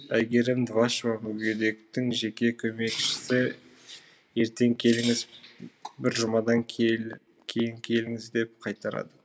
әйгерім двашева мүгедектің жеке көмекшісі ертең келіңіз бір жұмадан кейін келіңіз деп қайтарады